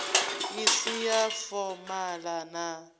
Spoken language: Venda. i si ya fomala na